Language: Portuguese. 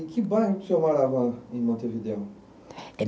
E que bairro que o senhor morava em Montevideo?